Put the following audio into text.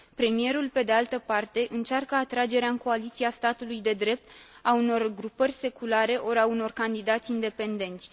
Premierul, pe de altă parte, încearcă atragerea în coaliția statului de drept a unor grupări seculare ori a unor candidați independenți.